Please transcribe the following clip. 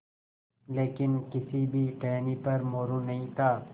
लेकिन किसी भी टहनी पर मोरू नहीं था